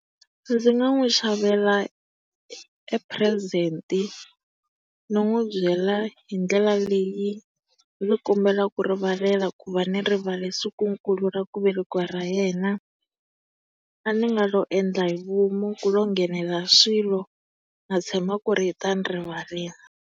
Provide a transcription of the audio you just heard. Ndzi nga n'wi xavela e purezenti, ni n'wi byela hi ndlela leyi ni kombelaka rivalelo ku va ni rivale sikunkulu ra kuvelekiwa ka yena. A ni nga lo endla hi vomu ku lo nghenelela swilo. Na tshemba ku ri u ta ni rivalela.